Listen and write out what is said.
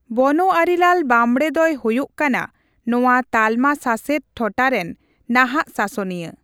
ᱵᱚᱱᱳᱣᱟᱨᱤᱞᱟᱞ ᱵᱟᱸᱵᱽᱲᱮ ᱫᱚᱭ ᱦᱳᱭᱳᱜ ᱠᱟᱱᱟ ᱱᱚᱣᱟ ᱛᱟᱞᱢᱟ ᱥᱟᱥᱮᱛ ᱴᱚᱴᱷᱟ ᱨᱮᱱ ᱱᱟᱦᱟᱜ ᱥᱟᱥᱚᱱᱤᱭᱟᱹ ᱾